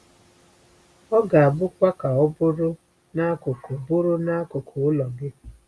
Ọ ga-abụkwa ka ọ bụrụ n’akụkụ bụrụ n’akụkụ ụlọ gị.”